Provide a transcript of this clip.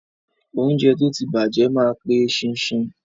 Óúnjẹ tó ti bàjẹ́ ma pe eṣinṣin.